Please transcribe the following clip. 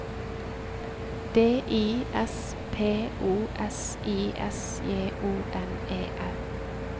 D I S P O S I S J O N E R